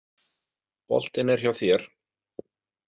Boltinn er hjá þér.